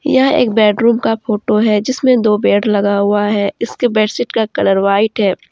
यह एक बेडरूम का फोटो है जिसमें दो बेड लगा हुआ है इसके बेडशीट का कलर व्हाइट है।